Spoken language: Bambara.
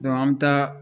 an bɛ taa